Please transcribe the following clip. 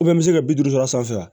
n bɛ se bi duuru dɔrɔn sanfɛ